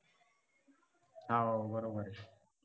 हा बरोबर आहे